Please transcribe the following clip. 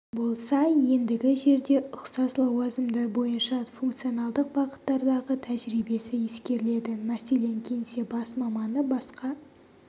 болса ендігі жерде ұқсас лауазымдар бойынша функционалдық бағыттардағы тәжірибесі ескеріледі мәселен кеңсе бас маманы басқа